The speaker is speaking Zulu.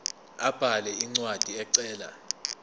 abhale incwadi ecela